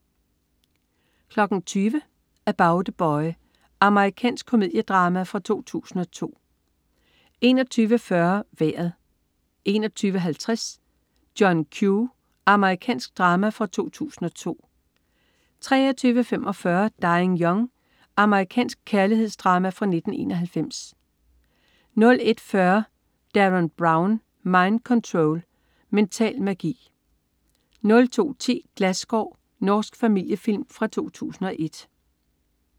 20.00 About A Boy. Amerikansk komediedrama fra 2002 21.40 Vejret 21.50 John Q. Amerikansk drama fra 2002 23.45 Dying Young. Amerikansk kærlighedsdrama fra 1991 01.40 Derren Brown. Mind Control. Mental magi! 02.10 Glasskår. Norsk familiefilm fra 2001